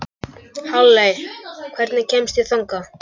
Halley, hvernig kemst ég þangað?